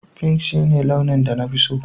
Pink shine launin da na fi so